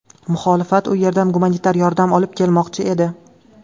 Muxolifat u yerdan gumanitar yordam olib kelmoqchi edi.